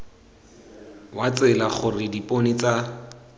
wa tsela gore dipone tsa